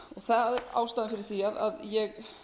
hans ástæðan fyrir því að ég